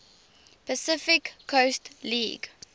pacific coast league